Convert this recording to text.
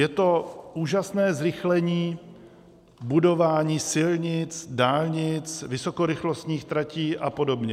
Je to úžasné zrychlení budování silnic, dálnic, vysokorychlostních tratí a podobně.